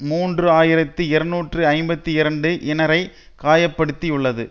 மூன்று ஆயிரத்தி இருநூற்றி ஐம்பத்தி இரண்டு இனரை காயப்படுத்தியுள்ளது